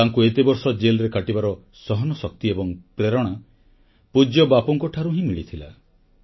ତାଙ୍କୁ ଏତେବର୍ଷ ଜେଲରେ କାଟିବାର ସହନଶକ୍ତି ଏବଂ ପ୍ରେରଣା ପୂଜ୍ୟ ବାପୁଙ୍କଠାରୁ ହିଁ ମିଳିଥିଲା